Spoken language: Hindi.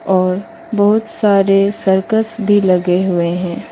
और बहुत सारे सर्कस भी लगे हुए हैं।